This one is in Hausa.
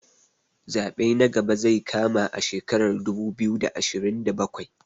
Zaɓe na gaba zai kama a shekarar dubu biyu da ashirin da bakwai